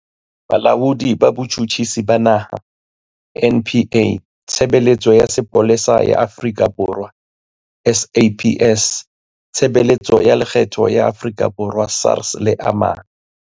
Bolaodi ba Botjhutjhisi ba Naha, NPA, Tshebeletso ya Sepolesa ya Afrika Borwa, SAPS, Tshebeletso ya Lekgetho ya Afrika Borwa, SARS le a mang.